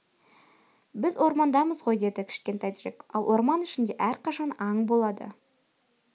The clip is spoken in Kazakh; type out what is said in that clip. біз ормандамыз ғой деді кішкентай джек ал орман ішінде әрқашан аң болады